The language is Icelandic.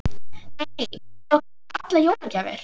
Lillý: Er búið að kaupa allar jólagjafir?